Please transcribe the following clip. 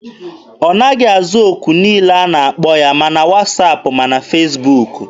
Ọ naghị aza okwu niile ọ na-akpọ ya, ma na wasaapụ ma na Fesbuk.